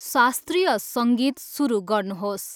शास्त्रीय सङ्गीत सुरु गर्नुहोस्।